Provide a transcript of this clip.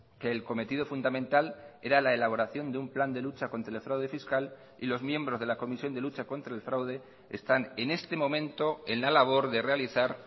que el cometido fundamental era la elaboración de un plan de lucha contra el fraude fiscal y los miembros de la comisión de lucha contra el fraude están en este momento en la labor de realizar